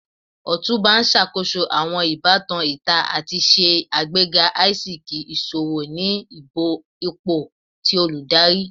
Otunba n ṣakoso awọn ibatan ita ati ṣe agbega aisiki iṣowo ni ipo ti oludari.